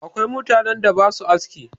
Akwai mutanen da ba sua aski.